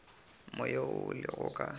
moya wo o lego ka